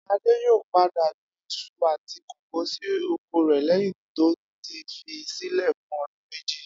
Adé yóò padà gbin is̩u àti kókò sí oko rè̩ léyìn tó ti fi sílè̩ fún o̩dún méjì